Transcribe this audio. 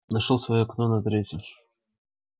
нашёл своё окно на третьем